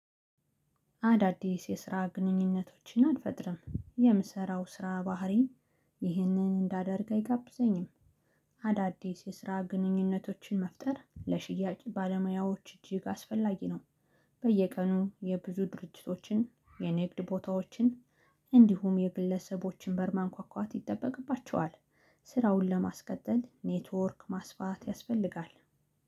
አዳዲስ የስራ ግንኙነቶችን አልፈጥርም የምሰራው ስራ ባህሪ ይህንን እንዳደርግ አይጋብዘኝም። አዳዲስ የስራ ግንኙነቶችን መፍጠር ለሽያጭ ባለሙያዎች እጅግ አስፈላጊ ነው። በየቀኑ የብዙ ድርጅቶችን የንግድ ቦታዎችን እንዲሁም የግለሰቦችን በር ማንኳኳት ይጠበቅባቸዋል። ስራውን ለማስቀጠል ኔትወርክ ማስፋት ያስፈልጋል።